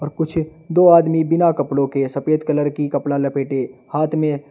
कुछ दो आदमी बिना कपड़ों के सफेद कलर की कपड़ा लपेटे हाथ में--